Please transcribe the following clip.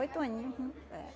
Oito aninho eh